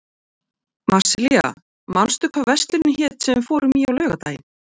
Marsilía, manstu hvað verslunin hét sem við fórum í á laugardaginn?